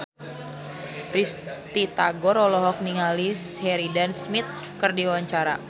Risty Tagor olohok ningali Sheridan Smith keur diwawancara